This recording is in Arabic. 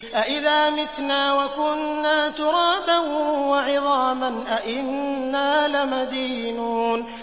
أَإِذَا مِتْنَا وَكُنَّا تُرَابًا وَعِظَامًا أَإِنَّا لَمَدِينُونَ